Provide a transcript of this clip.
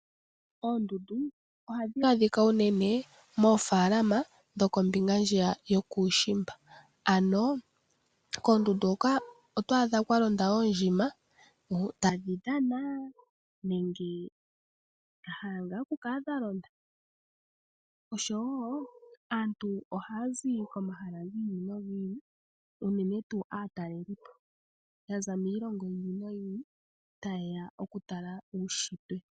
Oondundu ohadhi adhika unene moofaalama dhoko mbinga ndjiya yokushimba ano koondundu hoka oto adha kwalonda oondjima taadhidhana nenge dhahala nga okukala dha londa, osho wo aantu ohaya zi komahala gi ili nogi ili unene tuu aatalelipo yaza miilongo yi ili noyi ili taye ya okutala uushitwe.